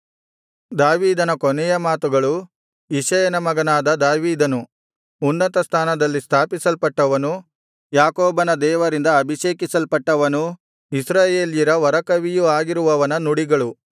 ದಾವೀದನ ಕೊನೆಯ ಮಾತುಗಳು ಇಷಯನ ಮಗನಾದ ದಾವೀದನು ಉನ್ನತ ಸ್ಥಾನದಲ್ಲಿ ಸ್ಥಾಪಿಸಲ್ಪಟ್ಟವನು ಯಾಕೋಬನ ದೇವರಿಂದ ಅಭಿಷೇಕಿಸಲ್ಪಟ್ಟವನೂ ಇಸ್ರಾಯೇಲ್ಯರ ವರಕವಿಯೂ ಆಗಿರುವವನ ನುಡಿಗಳು